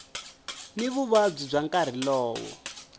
ni vuvabyi bya nkarhi lowo